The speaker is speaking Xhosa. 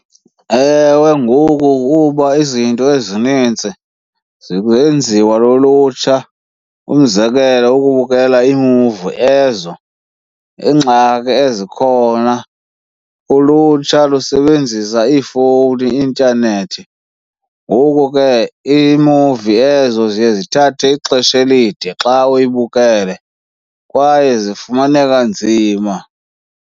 Ewe, ngoku kuba izinto ezinintsi zenziwa lulutsha. Umzekelo, ukubukela iimuvi ezo. Ingxaki ezikhona ulutsha lusebenzisa iifowuni, intanethi, ngoku ke iimuvi ezo ziye zithathe ixesha elide xa uyibukele kwaye zifumaneka nzima.